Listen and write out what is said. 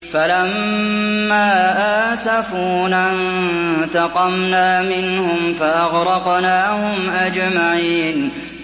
فَلَمَّا آسَفُونَا انتَقَمْنَا مِنْهُمْ فَأَغْرَقْنَاهُمْ أَجْمَعِينَ